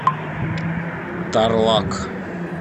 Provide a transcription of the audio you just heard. тарлак